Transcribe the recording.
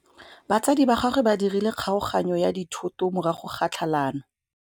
Batsadi ba gagwe ba dirile kgaoganyô ya dithoto morago ga tlhalanô.